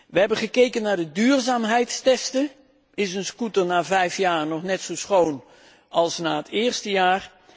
We hebben gekeken naar de duurzaamheidstesten is een scooter na vijf jaar nog net zo schoon als na het eerste jaar?